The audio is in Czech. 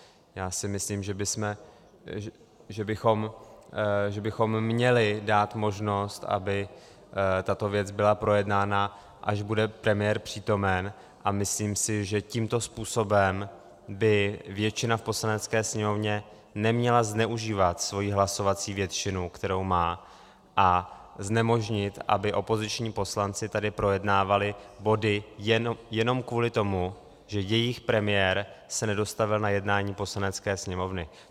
Já si myslím, že bychom měli dát možnost, aby tato věc byla projednána, až bude premiér přítomen, a myslím si, že tímto způsobem by většina v Poslanecké sněmovně neměla zneužívat svoji hlasovací většinu, kterou má, a znemožnit, aby opoziční poslanci tady projednávali body jenom kvůli tomu, že jejich premiér se nedostavil na jednání Poslanecké sněmovny.